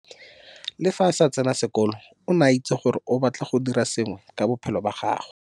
Le fa a sa tsena sekolo o ne a itse gore o batla go dira sengwe ka bophelo ba gagwe.